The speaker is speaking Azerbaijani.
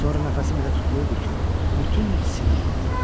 Sonra nəfəsim elə tutulurdu ki, bütün sinəm ağrıyırdı.